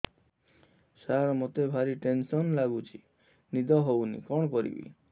ସାର ମତେ ଭାରି ଟେନ୍ସନ୍ ଲାଗୁଚି ନିଦ ହଉନି କଣ କରିବି